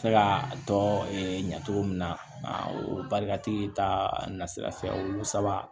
Se ka tɔ ɲacogo min na o barika tigi ta na sira fɛ o saba